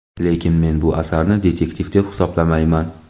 Lekin men bu asarni "detektiv" deb hisoblamayman.